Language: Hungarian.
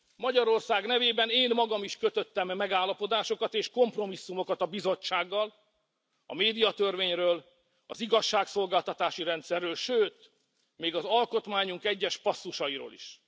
Magyarország nevében én magam is kötöttem megállapodásokat és kompromisszumokat a Bizottsággal a médiatörvényről, az igazságszolgáltatási rendszerről, sőt még az alkotmányunk egyes passzusairól is.